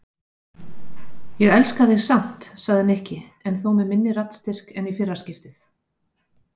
Ég elska þig samt sagði Nikki en þó með minni raddstyrk en í fyrra skiptið.